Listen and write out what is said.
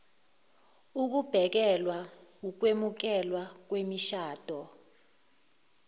ukubhekelwa ukwemukeleka kwemishado